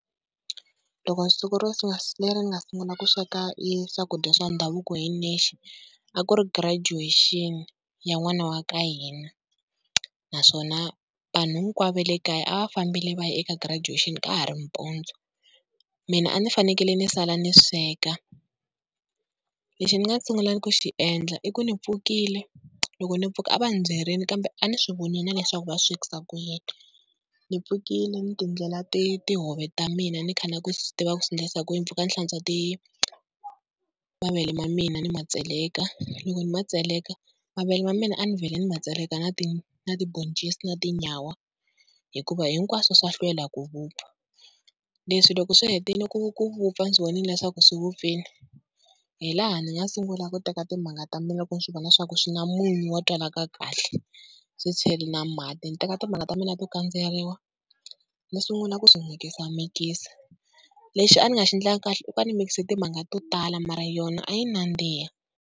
Loko siku leri ni nga sungula ku sweka i swakudya swa ndhavuko hi nexe, a ku ri graduation ya n'wana wa ka hina naswona vanhu hinkwavo va le kaya a va fambile va ya eka graduation ka ha ri mpundzu mina a ni fanekele ni sala ni sweka. Lexi ni nga sungula ku xi endla i ku ni pfukile, loko ni pfuka a va ni byerile kambe a ni swi vonile na leswaku va swekisa ku yini. Ni pfukile ni ti endlela ti tihove ta mina ni kha ni lava ku swi tiva ku swi endlisa ku yini. Ni pfuka ni hlantswa mavele ma mina ni ma tseleka loko ni ma tseleka, mavele ma mina a ni vhele ni ma tseleka na ti na tiboncisi na tinyawa, hikuva hinkwaswo swa hlwela ku vupfa. Leswi loko swi hetile ku ku vupfa ndzi swi vonile leswaku swi vupfile hi laha ni nga sungula ku teka timanga ta mina loko ni swi vona swa ku swi na munyu wa twalaka kahle ni swi chela na mati, ni teka timanga ta mina to kandzeriwa ni sungula ku swi mikisamikisa. Lexi a ni nga xi endlangi kahle i ku a ni mix timanga to tala mara yona a yi nandziha.